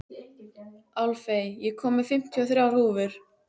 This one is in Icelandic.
Álfey, ég kom með fimmtíu og þrjár húfur!